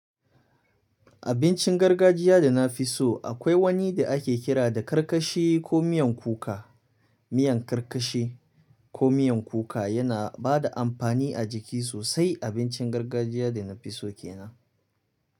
Abincin gargajiya da na fi so akwai wani da ake kira da karkashi ko miyan kuka. Miyan karkashi ko miyan kuka yana ba da amfani a jiki sosai. Abincin gargajiya da na fi so ke nan.